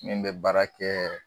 Min bɛ baara kɛ